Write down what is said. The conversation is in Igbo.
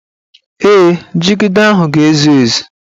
Ee, jigida ahụ ga-ezu ezu